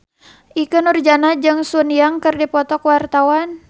Ikke Nurjanah jeung Sun Yang keur dipoto ku wartawan